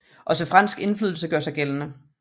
Også fransk indflydelse gør sig gældende